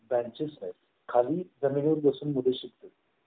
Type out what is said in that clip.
benches खाली जमिनीवर बसून मुले शिकतो